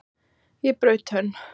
Ég braut tönn!